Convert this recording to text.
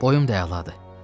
Boyum da əladır.